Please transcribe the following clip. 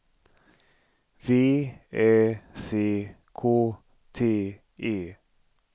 V Ä C K T E